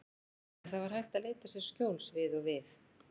En það var hægt að leita sér skjóls við og við.